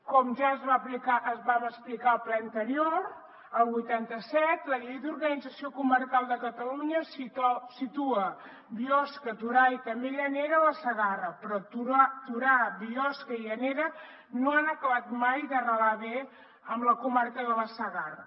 com ja es va explicar al ple anterior el vuitanta set la llei d’organització comarcal de catalunya situa biosca torà i també llanera a la segarra però torà biosca i llanera no han acabat mai d’arrelar bé amb la comarca de la segarra